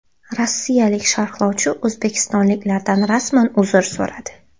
Rossiyalik sharhlovchi o‘zbekistonliklardan rasman uzr so‘radi.